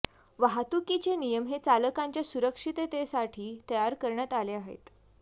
वाहतुकीचे नियम हे चालकांच्या सुरक्षिततेसाठी तयार करण्यात आले आहेत